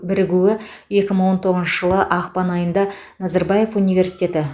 бірігуі екі мың он тоғызыншы жылы ақпан айында назарбаев университеті